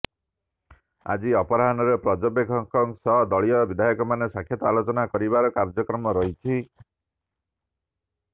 ଆଜି ଅପରାହ୍ନରେ ପର୍ଯ୍ୟବେକ୍ଷକମାନଙ୍କ ସହ ଦଳୀୟ ବିଧାୟକମାନେ ସାକ୍ଷାତ ଆଲୋଚନା କରିବାର କାର୍ଯ୍ୟକ୍ରମ ରହିଛି